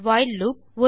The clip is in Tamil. while loop